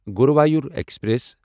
Guruvayur express